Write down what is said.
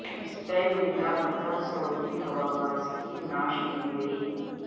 Spain میں لاپتہ Saudi ہواباز کی نعش مل گئی